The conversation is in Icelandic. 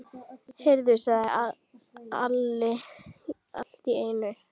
Heyrðu, sagði Alli allt í einu.